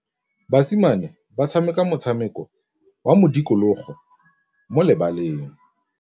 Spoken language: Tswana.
Basimane ba tshameka motshameko wa modikologô mo lebaleng.